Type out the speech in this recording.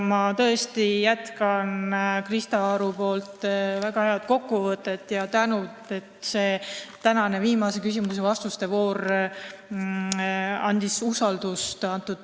Ma jätkan Krista Aru väga head kokkuvõtet ja tänan samuti, sest tänane viimane küsimuste ja vastuste voor andis selle teema käsitlusse usaldust juurde.